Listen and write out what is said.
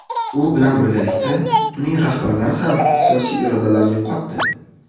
U bilan birgalikda uning rahbarlari ham siyosiy irodalarini yo‘qotdi.